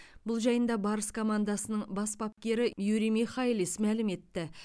бұл жайында барыс командасының бас бапкері юрий михайлис мәлім етті